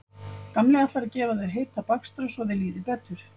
Gamli ætlar að gefa þér heita bakstra svo þér líði betur